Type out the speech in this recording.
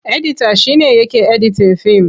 Edita shi ne yake editin fim.